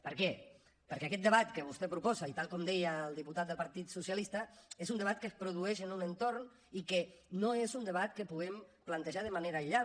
per què perquè aquest debat que vostè proposa i tal com deia el diputat del partit socialista és un debat que es produeix en un entorn i que no és un debat que puguem plantejar de manera aïllada